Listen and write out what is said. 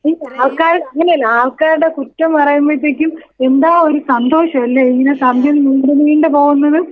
അങ്ങനെ അല്ല ആൾക്കാരെ കുറ്റോം പറയുമ്പളത്തേക്കും എന്താ ഒരു സന്തോഷംല്ലേ ഇങ്ങനെ സമയം നീണ്ടു നീണ്ട് പോവുന്നത്.